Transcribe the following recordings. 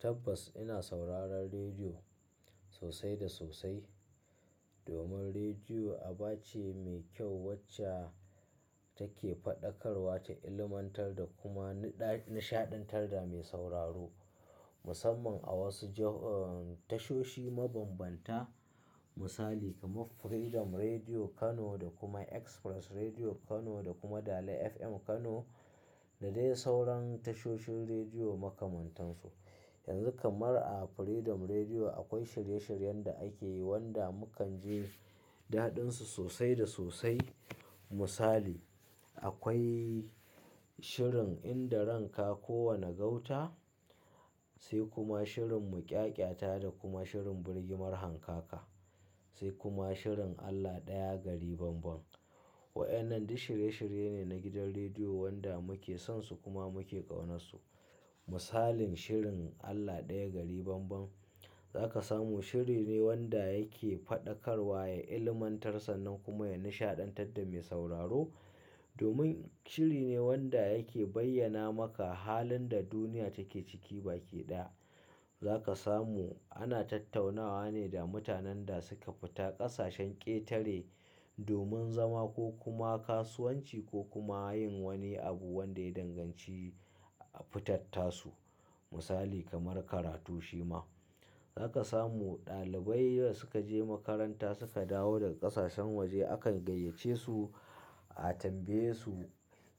Tabbas ina sauraron rediyo sosai da sosai domin rediyo aba ce mai kyau wacce take faɗakarwa ta ilmantar da kuma nishaɗantar da mai sauraro. Musamman a wasu tashoshi mabambanta misali kamar Freedom Rediyo Kano da kuma Express Rediyo Kano da kuma Dala FM Kano da dai sauran tashoshin rediyo makamantansu. Yanzu kamar a Freedom Rediyo akwai shirye-shiryen da ake yi wanda mukan ji daɗinsu sosai da sosai. Misali, akwai shirin in da ran ka ko wane gauta sai kuma shirin muƙyaƙyata da kuma shirin birgimar hankaka sai kuma shirin Allah ɗaya gari banban. Wa'enan duk shirye-shirye ne na gidan rediyo wanda muke sonsu kuma muke ƙaunarsu. Misalin shirin Allah ɗaya gari banban zaka samu shiri ne wanda yake faɗakarwa, ya ilmantar sa nan kuma ya nishaɗantar da mai sauraro. Domin shiri ne wanda yake bayyana maka halin da duniya take ciki baki ɗaya. Zaka samu ana tattaunawa ne da mutanen da suka fita ƙasashen ƙetare domin zama ko kuma kasuwanci ko kuma yin wani abu wanda ya danganci fitattasu. Misali kamar karatu shima. Zaka samu ɗalibai da suka je makaranta suka dawo daga ƙasashen waje akan gayyace su a tambaye su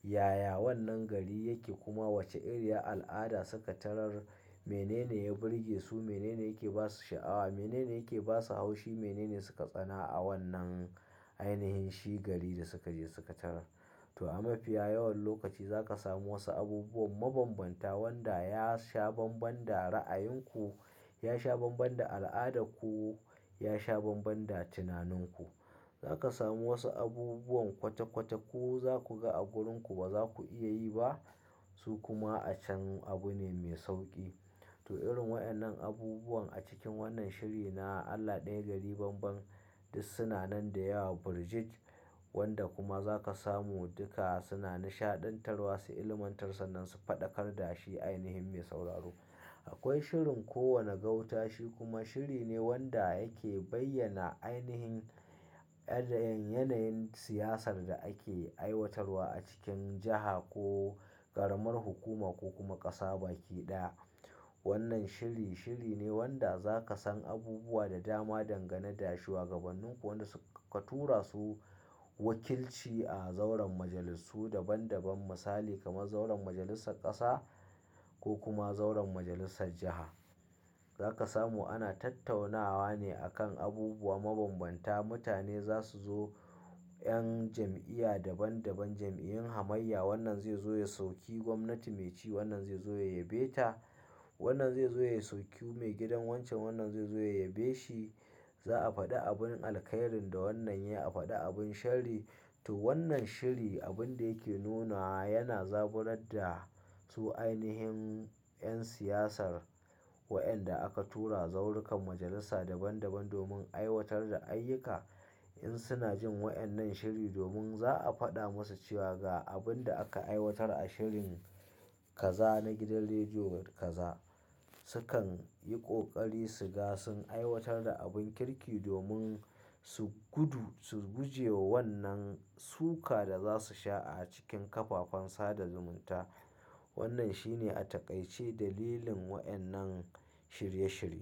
yaya wannan gari yake kuma wace iriyar al'ada suka tarar, mene ne ya birge su, mene ne yake ba su sha'awa, mene ne yake ba su haushi, mene ne suka tsana a wannan ainihin shi gari da suka je suka tarar. To a mafiya yawan lokaci zaka samu wasu abubuwan mabambanta wanda ya sha banban da ra'ayinku, ya sha banban da al'adarku, ya sha banban da tunaninku. Zaka samu wasu abubuwan kwata-kwata ku zaku ga a wurinku ba za ku iya yi ba su kuma a can abu ne mai sauƙi. To irin wa'enan abubuwan a cikin wannan shiri na Allah ɗaya gari banban duk suna nan da yawa birjik wanda kuma zaka samu duka suna nishaɗantarwa su, ilmantar sa nan su faɗakar da shi ainihin mai sauraro. Akwai shirin kowane gauta shi kuma shiri ne wanda yake bayyana ainihin yanayin siyasar da ake aiwatarwa a cikin jiha ko ƙaramar hukuma ko kuma ƙasa baki ɗaya. Wannan shiri, shiri ne wanda zaka san abubuwa da dama dangane da shuwagabannin ku wanda suka tura su wakilci a zauren majalisu daban daban misali kamar zauren majalissar ƙasa ko kuma zauren majalissar jiha. Zaka samu ana tattaunawa ne a kan abubuwa mabambanta. Mutane za su zo, 'yan jam'iya daban daban, jam'iyyun hamayya wannan zai zo ya soki gwamnati me ci wannan zai zo ya yabe ta. Wannan zai zo ya suki mai gidan wancan wannan zai zo ya yabe shi. Za a faɗi abun alkairi da wannan yayi, a faɗi abin sharri. To wannan shiri abun da yake nuna wa yana zaburar da su ainihin 'yan siyasar wa'enda aka tura zaurukan majalisa daban daban domin aiwatar da ayyuka. In suna jin wa'enan shiri domin za a faɗa musu cewa ga abin da aka aiwatar a shirin kaza na gidan rediyo kaza sukan yi ƙoƙari su ga sun aiwatar da abin kirki domin su gudu su guje wa wannan suka da za su sha a cikin ƙafafen sada zumunta. Wannan shi ne a taƙaice dalilin wadannan shirye-shirye.